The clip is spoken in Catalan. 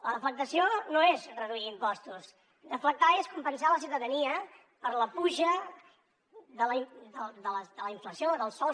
la deflactació no és reduir impostos deflactar és compensar la ciutadania per la pujada de la inflació dels sous